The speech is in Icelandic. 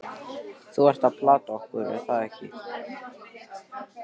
Þú ert að plata okkur, er það ekki?